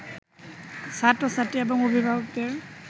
ছাত্র-ছাত্রী এবং অভিভাবকদের